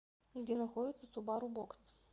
где находится субару бокс